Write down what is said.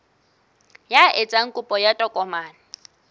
ya etsang kopo ya tokomane